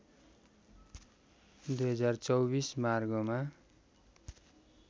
२०२४ मार्गमा